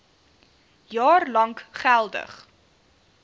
jaar lank geldig